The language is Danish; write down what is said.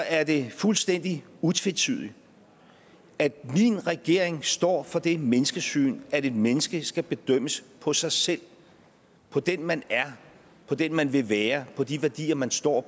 er det fuldstændig utvetydigt at min regering står for det menneskesyn at et menneske skal bedømmes på sig selv på den man er på den man vil være på de værdier man står